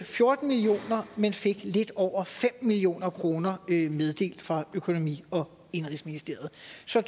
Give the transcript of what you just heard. fjorten million kr men fik lidt over fem million kroner meddelt fra økonomi og indenrigsministeriet så